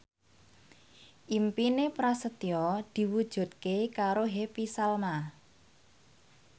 impine Prasetyo diwujudke karo Happy Salma